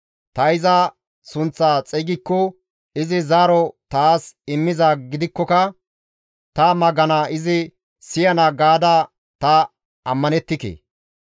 Ta iza sunththa xeygikko izi zaaro taas immizaa gidikkoka ta magana izi siyana gaada ta ammanettike.